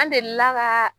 An delila ka